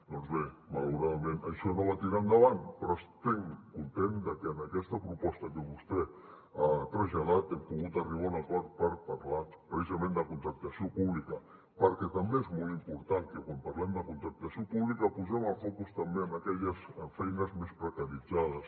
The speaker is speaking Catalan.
doncs bé malauradament això no va tirar endavant però estic content de que en aquesta proposta que vostè ha traslladat hem pogut arribar a un acord per parlar precisament de contractació pública perquè és molt important que quan parlem de contractació pública posem el focus també en aquelles feines més precaritzades